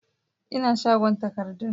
Ina shagon takardun